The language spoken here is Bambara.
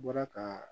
N bɔra ka